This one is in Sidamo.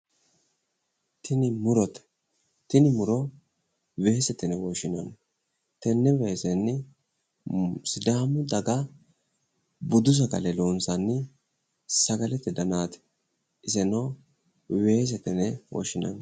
Tini murote. Tini muro weesete yine woshshinanni. Tenne weesenni sidaamu daga budu sagale loonsanni sagalete danaati. Iseno weesete yine woshshinanni.